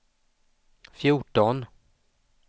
fjorton